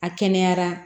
A kɛnɛyara